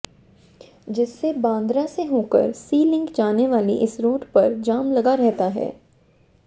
जिससे बांद्रा से होकर सी लिंक जाने वाले इस रोड पर जाम लगा रहता है